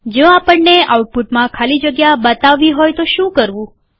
જો આપણને આઉટપુટમાં ખાલી જગ્યા બતાવવી હોય તો શું કરવું